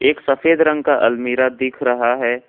एक सफेद रंग का अलमीरा दिख रहा है।